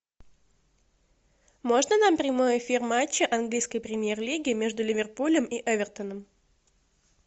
можно нам прямой эфир матча английской премьер лиги между ливерпулем и эвертоном